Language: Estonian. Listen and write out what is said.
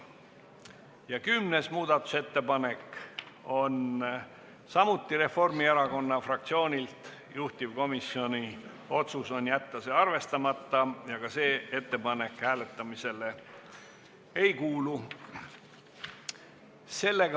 Ja kümnes muudatusettepanek on samuti Reformierakonna fraktsioonilt, juhtivkomisjoni otsus on jätta see arvestamata ja ka see ettepanek hääletamisele ei kuulu.